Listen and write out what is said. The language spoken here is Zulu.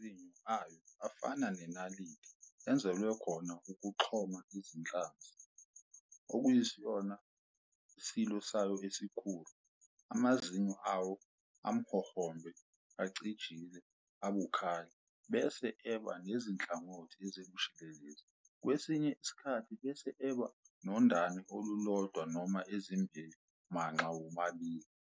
Amazinyo ayo afana neNaliti enzelwe khona ukuxhoma iziNhlanzi, okuyisona isilo sayo esikhulu. Amazinyo awo amhohombe, acijile, abukhali, bese eba nezinhlangothi ezibushelelezi, kwesinye isikhathi bese eba nondane olulodwa noma ezimbili manxa womabili.